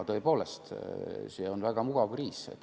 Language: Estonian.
Tõepoolest, see on väga mugav kriis.